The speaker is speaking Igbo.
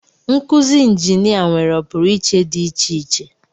Nkuzi injinia nwere ọpụrụiche dị iche iche